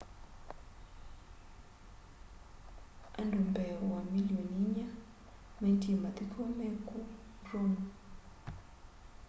andu mbee wa milioni inya maendie mathiko meku rome